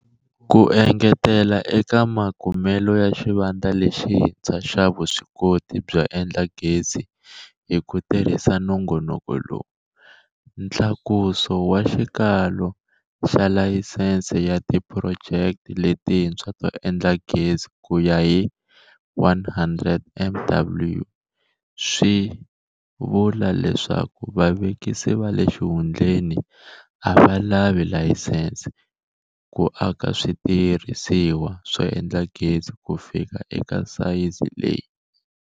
Ku engetela eka makumelo ya xivandla lexintshwa xa vuswikoti byo endla gezi hi ku tirhisa nongonoko lowu, ntlakuso wa xikalo xa layisense ya tiphurojeke letintshwa to endla gezi ku ya 100 MW swi vula leswaku vavekisi va le xihundleni a va lavi layisense ku aka switirhisiwa swo endla gezi ku fika eka sayizi leyi.